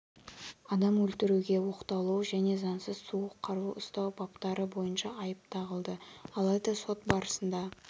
адам өлтіруге оқталу және заңсыз суық қару ұстау баптары бойынша айып тағылды алайда сот барысында